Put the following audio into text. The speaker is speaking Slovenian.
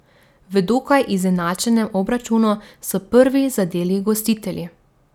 V dokaj izenačenem obračunu so prvi zadeli gostitelji.